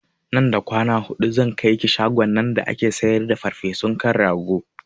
Nan da kwana hudu zan kaiki shagon nan da ake siyar da farfesun kan rago